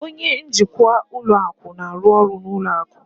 Onye njikwa ụlọ akụ na-arụ ọrụ na ụlọ akụ